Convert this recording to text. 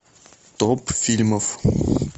топ фильмов